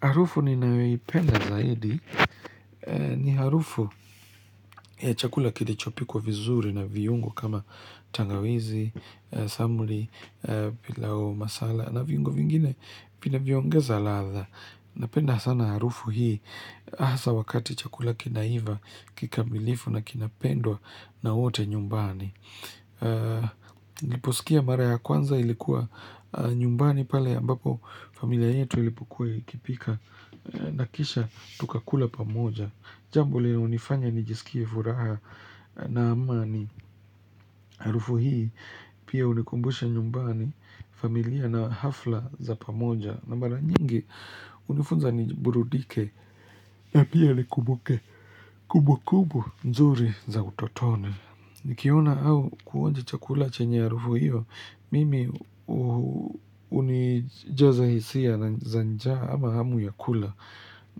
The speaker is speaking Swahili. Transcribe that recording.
Harufu ninayoipenda zaidi ni harufu ya chakula kilichopikwa vizuri na viungo kama tangawizi, samuri, pilau masala na viungo vingine vinavyoongeza ladha. Napenda sana harufu hii hasa wakati chakula kinaiva kikamilifu na kinapendwa na wote nyumbani. Liposikia mara ya kwanza ilikuwa nyumbani pale ambapo familia yetu ilipokua ikipika na kisha tukakula pamoja Jambo lilonifanya nijisikie furaha na amani Harufu hii pia hunikumbusha nyumbani familia na hafla za pamoja na mara nyingi hunifunza niburudike na pia nikumbuke Kubu kubu nzuri za utotone Nikiona au kuonja chakula chenye harufu hiyo, mimi unijaza hisia na za njaa ama hamu ya kula.